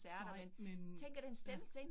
Nej men, ja